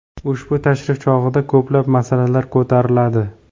Ushbu tashrif chog‘ida ko‘plab masalalar ko‘tariladi.